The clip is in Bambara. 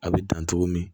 A bɛ dan togo min